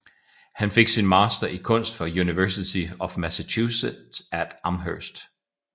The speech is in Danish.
Han fik sin master i kunst fra University of Massachusetts at Amherst